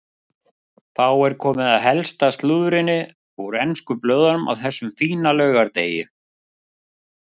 Þá er komið að helsta slúðrinu úr ensku blöðunum á þessum fína laugardegi.